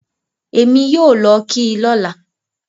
Ẹ̀mi yóò lọ kí i lọ́là